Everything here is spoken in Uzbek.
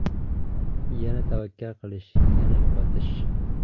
Yana tavakkal qilish, yana yo‘qotish.